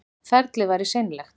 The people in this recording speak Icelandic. Ferlið væri seinlegt